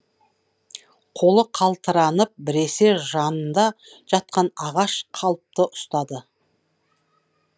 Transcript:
қолы қалтыранып біресе жанында жатқан ағаш қалыпты ұстады